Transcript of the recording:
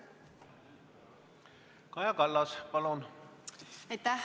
Kaja Kallas, palun!